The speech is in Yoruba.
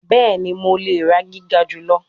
Bẹẹni, Mo le ra giga julọ